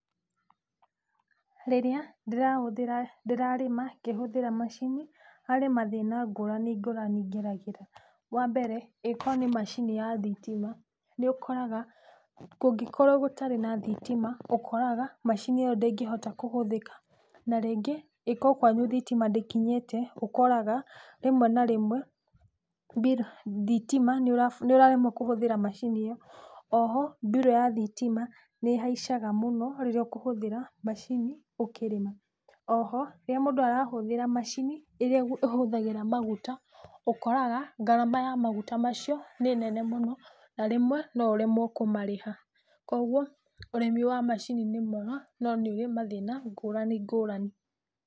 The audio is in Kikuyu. Rĩrĩa ndĩrarĩma ngĩhũthĩra macini harĩ mathĩna ngũrani ngũrani ngeragĩra, wambere ĩngĩkorwo nĩ macini nĩ ya thitima nĩ ũkoraga kũngĩkorwo gũtarĩ na thitima ũkoraga macini ĩyo ndĩngĩhota kũhũthĩka na rĩngĩ ĩkorwo kwanyu thitima ndĩkinyĩte ũkoraga rĩmwe na rĩmwe nĩũraremwo nĩ kũhũthĩra macini ĩyo, oho mbirũ ya thitima nĩĩhaicaga mũno rĩrĩa ũkũhũthĩra macini ũkĩrĩma, oho rĩrĩa mũndũ arahũthĩra macini ĩrĩa ĩrahũthĩra maguta ũkoraga ngarama ya maguta macio nĩ nene mũno na rĩmwe no ũremwo kũmarĩha kwoguo ũrĩmi wa macini nĩ mwega no nĩũrĩ mathĩna ngũrani ngũrani.